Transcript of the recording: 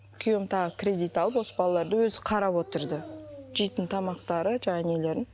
күйеуім тағы кредит алып осы балаларды өзі қарап отырды жейтін тамақтарын жаңағы нелерін